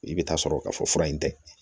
I bɛ taa sɔrɔ ka fɔ fura in tɛ